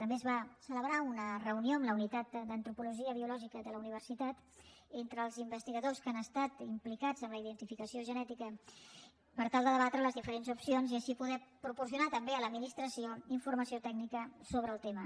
també es va celebrar una reunió amb la unitat d’antropologia biològica de la universitat entre els investigadors que han estat implicats en la identificació genètica per tal de debatre les diferents opcions i així poder proporcionar també a l’administració informació tècnica sobre el tema